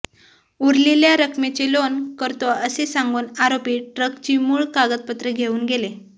उरलेल्या रकमेचे लोन करतो असे सांगून आरोपी ट्रकची मूळ कागदपत्रे घेऊन गेले